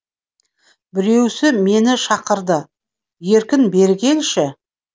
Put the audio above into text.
біреуісі мені шақырды еркін бері келші